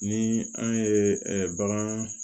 Ni an ye bagan